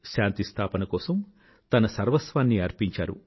శాంతిస్థాపన కోసం తన సర్వస్వాన్నీ అర్పించారు